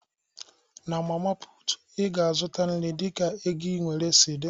Na mama putu, Ị ga-azụta nri dịka ego i nwere si dị